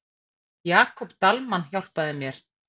Jakob Dalmann hjálpaði mér.